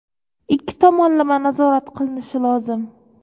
Ikki tomonlama nazorat qilinishi lozim.